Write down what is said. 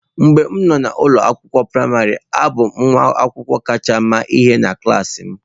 Mgbe m nọ n'ụlọ akwụkwọ praịmarị, abụ m nwa akwụkwọ kacha ama ihe na klas m.